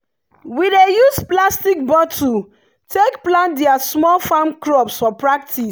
we dey use plastic bottle take plant their small farm crops for practice.